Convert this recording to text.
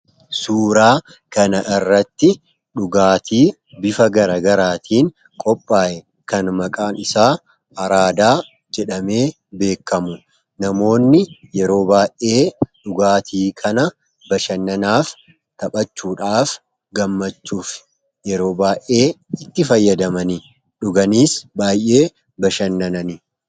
Suuraa kana irratti dhugaatii bifa gara garaatiin qophaa'e kan maqaan isaa araadaa jedhamee beekkamu namoonni yeroo baa'ee dhugaatii kana bashannanaaf taphachuudhaaf gammachuuf yeroo baa'ee itti fayyadaman dhuganiis baay'ee bashannananidha.